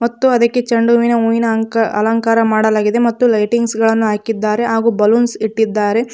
ಮತ್ತು ಅದಕ್ಕೆ ಚೆಂಡುವಿನ ಹೂವಿನ ಅಂಕ ಅಲಂಕಾರ ಮಾಡಲಾಗಿದೆ ಮತ್ತು ಲೈಟಿಂಗ್ಸ್ ಗಳನ್ನು ಹಾಕಿದ್ದಾರೆ ಹಾಗೂ ಬಲೂನ್ಸ್ ಇಟ್ಟಿದ್ದಾರೆ.